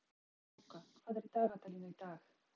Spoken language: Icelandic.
Snjáka, hvað er í dagatalinu í dag?